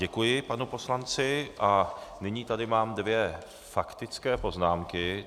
Děkuji panu poslanci a nyní tady mám dvě faktické poznámky.